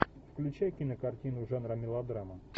включай кинокартину жанра мелодрама